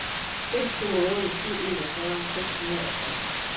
fem to otte syv enogfyrre seks hundrede og tolv